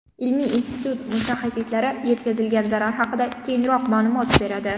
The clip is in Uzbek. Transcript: Ilmiy institut mutaxassislari yetkazilgan zarar haqida keyinroq ma’lumot beradi.